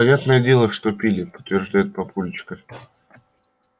понятное дело что пили подтверждает папульчик